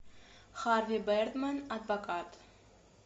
харви бердмэн адвокат